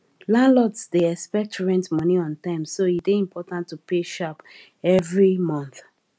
landlords dey expect rent money on time so e dey important to pay sharp every month